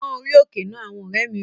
Pón orí òkè náà! Àwọn ọ̀rẹ́ mi wí